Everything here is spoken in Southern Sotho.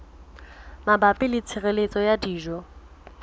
mabapi le tshireletso ya dijo